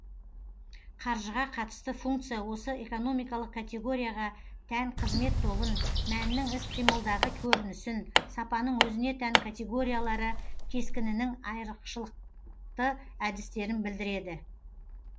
қаржыға қатысты функция осы экономикалық категорияға тән қызмет тобын мәннің іс қимылдағы көрінісін сапаның өзіне тән категориялары кескінінің айрықшылықты әдістерін білдіреді